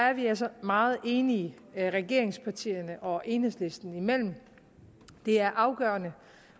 er vi altså meget enige regeringspartierne og enhedslisten imellem det er afgørende